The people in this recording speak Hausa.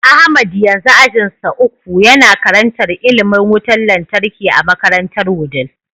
Ahmad yanzu ajinsa uku, Yana karantar ilimin wutar lantarki a makarantar wudil